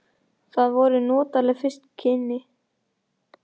Það voru notaleg fyrstu kynni.